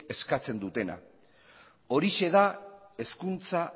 eskatzen dutena horixe da hezkuntza